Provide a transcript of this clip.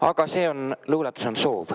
Aga see luuletus on "Soov".